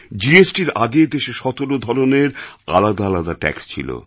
জিএসটির আগে দেশে ১৭ ধরনের আলাদা আলাদা ট্যাক্স ছিল